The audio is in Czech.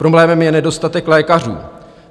Problémem je nedostatek lékařů.